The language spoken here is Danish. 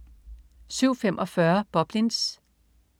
07.45 Boblins